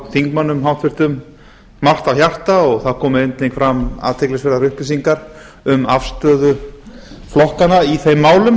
þingmönnum háttvirtur margt á hjarta og það komu einnig fram athyglisverðar upplýsingar um afstöðu flokkanna í þeim málum